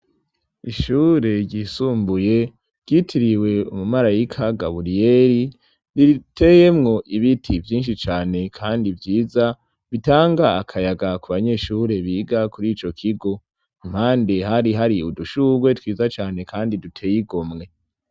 Ishure ryisumbuye ryitiriwe umumarayika gaburiyeli riteyemwo ibiti vyinshi cane, kandi vyiza bitanga akayaga ku banyeshure biga kuri ico kigo impande hari hari udushurwe twiza cane, kandi duteyigo mwe.